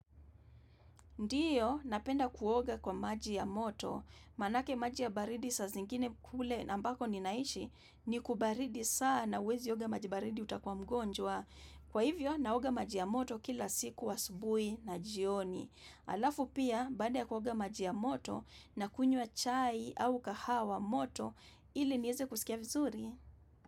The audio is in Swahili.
Ndiyo, napenda kuoga kwa maji ya moto. Manake maji ya baridi saa zingine kule ambako ninaishi ni kubaridi sana uwezi oga maji baridi utakwa mgonjwa. Kwa hivyo, naoga maji ya moto kila siku wa asubui na jioni. Alafu pia, baada ya kuoga maji ya moto nakunywa chai au kahawa moto ili niweze kuskia vizuri.